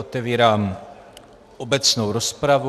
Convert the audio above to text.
Otevírám obecnou rozpravu.